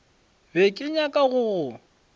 be ke nyaka go go